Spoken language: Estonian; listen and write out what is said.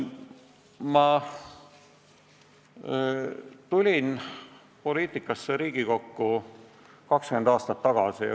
Ma tulin poliitikasse, Riigikokku, 20 aastat tagasi.